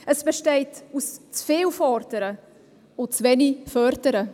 Es besteht aus zu viel Fordern und zu wenig Fördern.